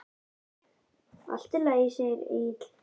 Allt í lagi, segir Egill.